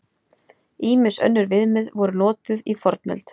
Ýmis önnur viðmið voru notuð í fornöld.